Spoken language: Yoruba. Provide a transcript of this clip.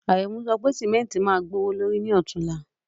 Àrẹ̀mú sọ pé ṣẹ́míntí má gbọwọ̀lọ̀rí ní òtúnla.